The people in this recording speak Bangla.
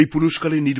এই পুরস্কারের